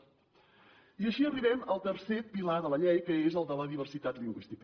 i així arribem al tercer pilar de la llei que és el de la diversitat lingüística